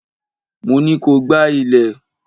Mo ní ko gbá ilé!